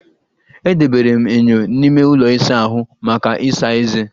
Edobere m enyo n'ime ụlọ ịsa ahụ maka ịsa eze